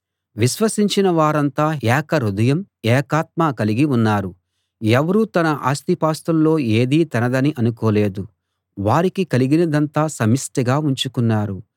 విశ్వసించిన వారంతా ఏక హృదయం ఏకాత్మ కలిగి ఉన్నారు ఎవరూ తన ఆస్తిపాస్తుల్లో ఏదీ తనదని అనుకోలేదు వారికి కలిగినదంతా సమిష్టిగా ఉంచుకున్నారు